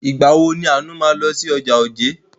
Ìgbà wo ni Àánú máa lọ sí ọjà Ojé?